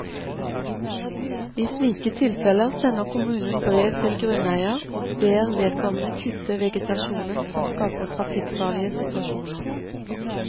I slike tilfeller sender kommunen brev til grunneier og ber vedkommende kutte vegetasjonen som skaper trafikkfarlige situasjoner.